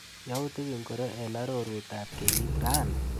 Yautik ingoro eng arorutab kenyit rani?